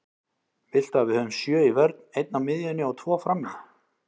Viltu að við höfum sjö í vörn, einn á miðjunni og tvo frammi?